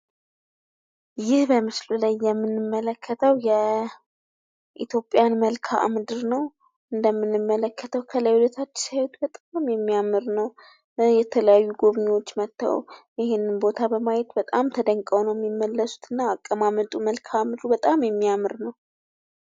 ይህ በምስሉ ላይ የምንመለከተው የኢትዮጵያን መልከአምድር ነው። ከላይ ወደታጭ ሲያዩት በጣም ነው የሚያምር። ጎብኝዎች መተው ሲያዩት በጣም ነው ደስ የሚላቸው ።